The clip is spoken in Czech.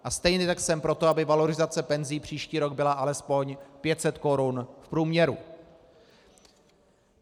A stejně tak jsem pro to, aby valorizace penzí příští rok byla alespoň 500 korun v průměru.